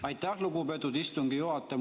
Aitäh, lugupeetud istungi juhataja!